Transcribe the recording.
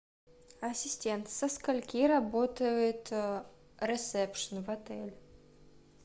ассистент со скольки работает ресепшен в отеле